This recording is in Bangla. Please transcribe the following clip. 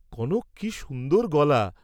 কনক কি সুন্দর গলা!